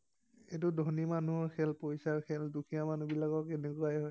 এইটো ধনী মানুহৰ খেল, পইছাৰ খেল, দুখীয়া মানুহবিলাকৰ এনেকুৱাৱে হয়।